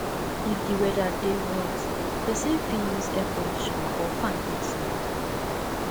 if di weather dey hot person fit use air conditioner or fan take sleep